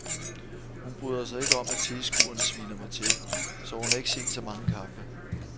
Hun bryder sig ikke om at tilskuerne sviner mig til, så hun har ikke set så mange kampe.